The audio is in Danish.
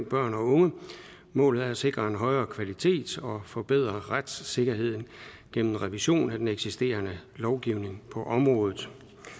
børn og unge målet er at sikre en højere kvalitet og forbedre retssikkerheden gennem revision af den eksisterende lovgivning på området